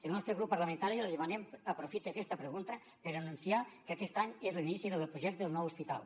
el nostre grup parlamentari li demanem que aprofite aquesta pregunta per anunciar que aquest any és l’inici del projecte del nou hospital